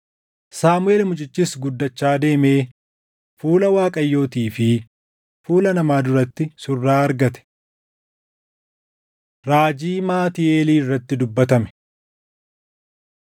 Saamuʼeel mucichis guddachaa deemee fuula Waaqayyootii fi fuula namaa duratti surraa argate. Raajii Maatii Eelii Irratti Dubbatame